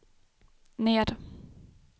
ner